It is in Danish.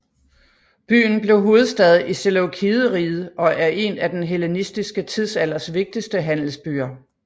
Byen blev hovedstad i Seleukideriget og en af den hellenistiske tidsalders vigtigste handelsbyer